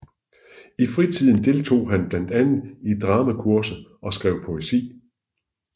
I fritiden deltog han blandt andet i dramakurser og skrev poesi